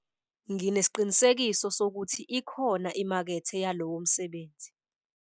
nginesiqiniseko sokuthi ikhona imakethe yalowo msebenzi